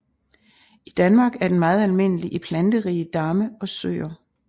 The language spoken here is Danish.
I Danmark er den meget almindelig i planterige damme og søer